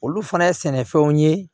Olu fana ye sɛnɛfɛnw ye